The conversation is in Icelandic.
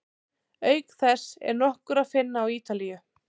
Auk þess er nokkur að finna á Ítalíu.